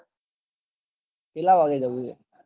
કેટલા વાગે જવાનું છે